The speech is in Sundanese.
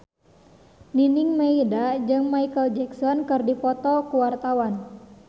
Nining Meida jeung Micheal Jackson keur dipoto ku wartawan